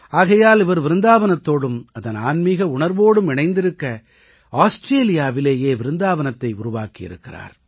ஆகையால் இவர் விருந்தாவனத்தோடும் அதன் ஆன்மீக உணர்வோடும் இணைந்திருக்க ஆஸ்ட்ரேலியாவிலேயே விருந்தாவனத்தை உருவாக்கியிருக்கிறார்